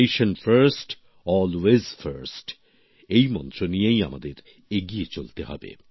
nation first always first এর মন্ত্র নিয়েই আমাদের এগিয়ে চলতে হবে